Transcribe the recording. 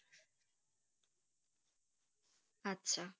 আচ্ছা।